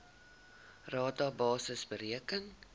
rata basis bereken